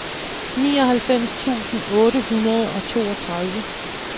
nioghalvfems tusind otte hundrede og toogtredive